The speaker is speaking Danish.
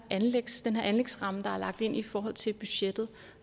anlægsramme der er lagt ind i forhold til budgettet